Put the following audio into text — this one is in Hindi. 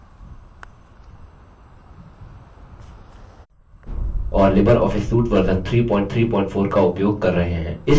यहाँ हम अपने ऑपरेटिंग सिस्टम के रूप में उबंटू लिनक्स 1004 और लिबरऑफस सूट वर्जन 334 का उपयोग कर रहे हैं